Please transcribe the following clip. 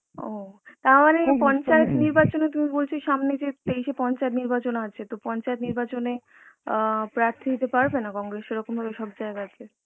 ও তার মানে পঞ্চায়েত নির্বাচনে তুমি বলছো, এই সামনেই যে তেইশ এ পঞ্চয়েত নির্বাচন আছে তো পঞ্চয়েত নির্বাচন এ আ প্রার্থী দিতে পারবে না congress সেরকম ভাবে সব জায়গা তে